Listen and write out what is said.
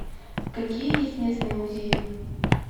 какие есть местные музеи